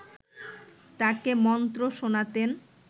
তাকে মন্ত্র শোনাতেন